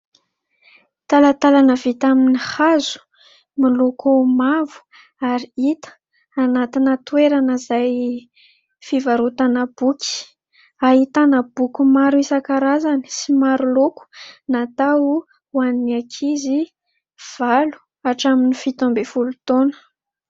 Talatalana vita amin'ny hazo miloko mavo ary hita anatina toerana izay fivarotana boky. Ahitana boky maro isankarazany sy maro loko, natao ho an'ny ankizy valo hatramin'ny fito ambin'ny folo taona.